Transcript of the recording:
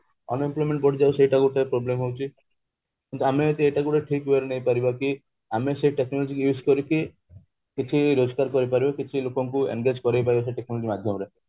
unemployment ବଢି ଯାଉଛି ସେଟା କିନ୍ତୁ ଗୋଟେ problem ହୋଉଛି କିନ୍ତୁ ଆମେ ଯଦି ଏଇଟା ଠିକ way ରେ ନାଇପାରିବା କି ଆମେ ସେଇ technology କୁ use କରିକି କିଛି ରୋଜଗାର କରିପାରିବା କିଛି ଲୋକଙ୍କୁ engage କରିପାରିବା ସେଇ technology ମାଧ୍ୟମରେ